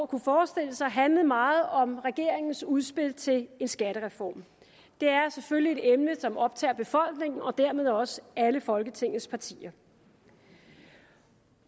kunne forestille sig handlet meget om regeringens udspil til en skattereform det er selvfølgelig et emne som optager befolkningen og dermed også alle folketingets partier